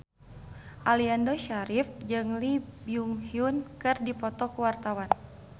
Aliando Syarif jeung Lee Byung Hun keur dipoto ku wartawan